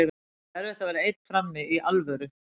Það er erfitt að vera einn frammi, í alvöru.